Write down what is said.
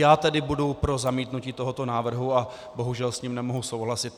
Já tedy budu pro zamítnutí tohoto návrhu a bohužel s ním nemohu souhlasit.